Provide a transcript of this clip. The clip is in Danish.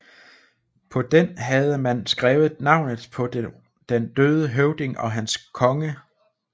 På den havde man skrevet navnet på den døde høvding og hans konge